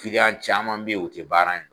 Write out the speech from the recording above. Kiliyan caman bɛ ye o tɛ baara in